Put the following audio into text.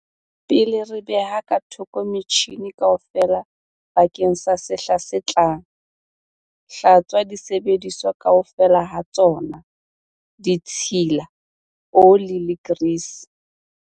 Pele re beha ka thoko metjhine kaofela bakeng sa sehla se tlang, hlatswa disebediswa kaofela ha tsona - ditshila, ole le grease.